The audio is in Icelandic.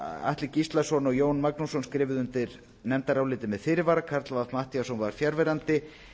atli gíslason og jón magnússon skrifuðu undir nefndarálitið með fyrirvara karl fimmti matthíasson var fjarverandi